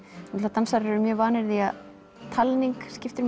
dansarar eru vanir því að talning skiptir